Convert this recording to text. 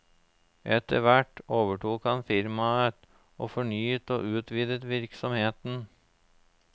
Etterhvert overtok han firmaet, og fornyet og utvidet virksomheten.